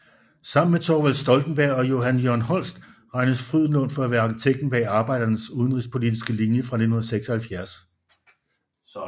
Sammen med Thorvald Stoltenberg og Johan Jørgen Holst regnes Frydenlund for at være arkitekten bag Arbeiderpartiets udenrigspolitiske linje fra 1976